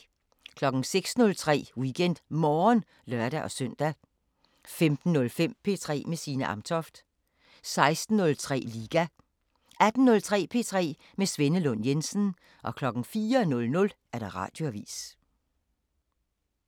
06:03: WeekendMorgen (lør-søn) 15:05: P3 med Signe Amtoft 16:03: Liga 18:03: P3 med Svenne Lund Jensen 04:00: Radioavisen